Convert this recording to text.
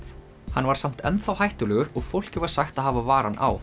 hann var samt enn þá hættulegur og fólki var sagt að hafa varann á